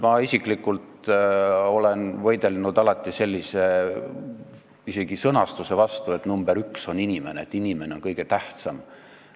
Mina isiklikult olen võidelnud alati isegi sellise sõnastuse vastu, et nr 1 on inimene, et inimene on kõige tähtsam.